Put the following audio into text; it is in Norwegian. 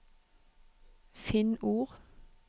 Finn ord